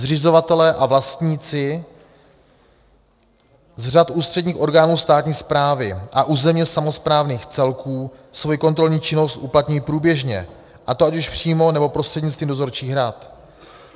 Zřizovatelé a vlastníci z řad ústředních orgánů státní správy a územně samosprávných celků svoji kontrolní činnost uplatňují průběžně, a to ať už přímo, nebo prostřednictvím dozorčích rad.